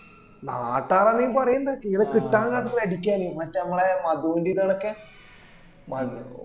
നാട്ടാര് ആണേ പറയണ്ട ചെയ്ത കിട്ടാൻ കാത്തുക്ക അടിക്കാന് മറ്റേ അമ്മളെ മധു ന്റെ ഇതോളൊക്കെ